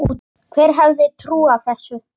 Hver hefði trúað þessu!